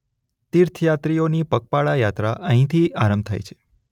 તીર્થયાત્રીઓની પગપાળા યાત્રા અહીંથી આરંભ થાય છે.